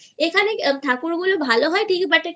এখানে ঠাকুর গুলো ভালো হয় ঠিকই But একটা